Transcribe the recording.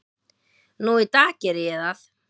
Nú í dag geri ég það.